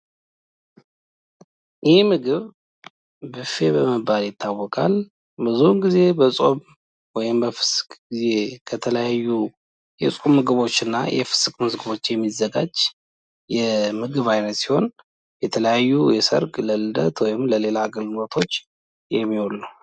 ይህ ምግብ ብፌ በመባል ይታውቃል። ብዙውን ጊዜ በጾም ወይም በፍስክ ጊዚው ከተለያዩ የጾም ምግቦች እና የፍስክ ምግቦች የሚዘጋጅ የምግብ አይነት ሲሆን የተለያዩ የሰርግ ለልደት ወይም ለሌላ አገልግሎቶች የሚውል ነው።